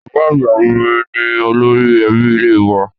Bàbá àgbà mi ni olórí ẹbí ilé wa